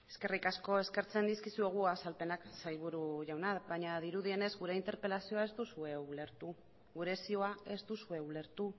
eskerrik asko eskertzen dizkizuegu azalpenak sailburu jauna baina dirudienez gure interpelazioa ez duzue ulertu gure zioa ez duzue ulertu